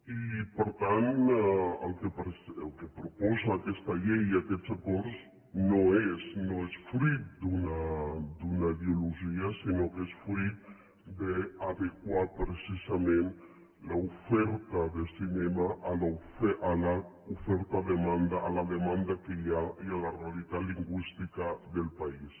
i per tant el que proposen aquesta llei i aquests acords no és fruit d’una ideologia sinó que és fruit d’adequar precisament l’oferta de cinema a la demanda que hi ha i a la realitat lingüística del país